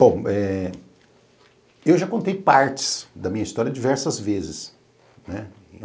Bom, eh eu já contei partes da minha história diversas vezes.